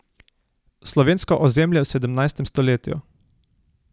Slovensko ozemlje v sedemnajstem stoletju.